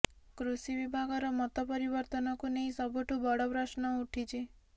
କୃଷି ବିଭାଗର ମତ ପରିବର୍ତ୍ତନକୁ ନେଇ ସବୁଠୁ ବଡ ପ୍ରଶ୍ନ ଉଠିଛି